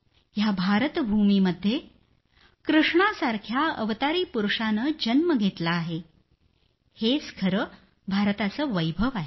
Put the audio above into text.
या भारतभूमीमध्ये कृष्णासारख्या अवतारी पुरूषानं जन्म घेतला आहे हेच खरं भारताचं वैभव आहे